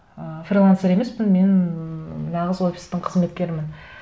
ыыы фрилансер емеспін мен нағыз офистің қызметкерімін